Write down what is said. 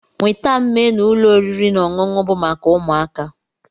Nweta m ménu ụlọ oriri na ọṅụṅụ bu maka ụmụaka